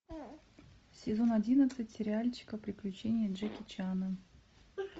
сезон одиннадцать сериальчика приключения джеки чана